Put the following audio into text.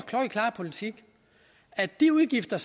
klokkeklare politik at de udgifter